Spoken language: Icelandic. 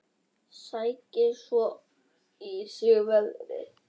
Sækir svo í sig veðrið.